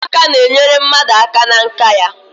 Ụmụaka n'enyere mmadụ aka na nka ya